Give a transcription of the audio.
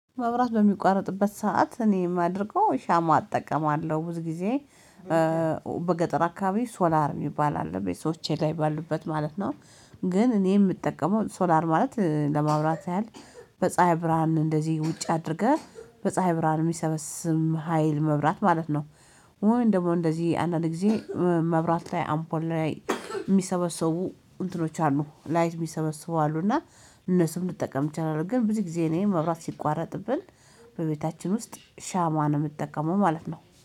መብራት በሚቋረጥበት ሰዓት እኔ የማደርገው ሻማ እጠቀማለሁ ብዙ ጊዜ በገጠር አካባቢ ሶላር የሚባል አለ ቤቶቼ ላይ ባሉበት ማለት ነው። ግን እኔ የምጠቀመው ሶላር ማለት ለማውራት ያህል በፀሀይ ብርሃን እንደዚህ ውጭ አድርገህ በፀሀይ ብርሃን የሚሰበስም ሀይል መብራት ማለት ነው። ወይም እንደዚህ አንዳንድ ጊዜ መብራት ላይ አምፖል ላይ የሚሰበሰቡ እንትኖች አሉ ላይት የሚሰበስቡ አሉና እነሱም ልጠቀም እችላለሁ። ግን ብዙ ጊዜ እኔን መብራት ሲቋረጥብን በቤታችን ውስጥ ሻማ ነው የምትጠቀመው ማለት ነው